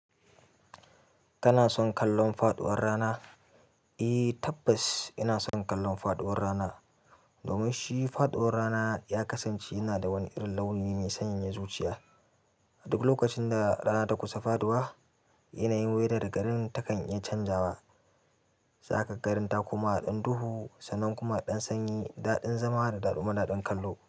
Kana son kallon faɗuwar rana? Eh tabbas ina son kallon faɗuwar rana. Domin shi faɗuwar rana ya kasance yana da wani irin launi mai sanyayan zuciya. A duk lokacin da rana ta kusa faɗuwa, yanayin wudar garin ta kan iya canjawa. Sakan garin ta kuma haɗin duhu sannan kuma haɗin sanyi, daɗin zama da damuna don kallo.